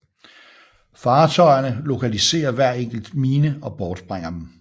Fartøjerne lokaliserer hver enkelt mine og bortsprænger dem